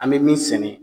An bɛ min sɛnɛ